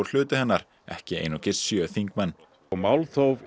hluti hennar ekki einungis sjö þingmenn málþóf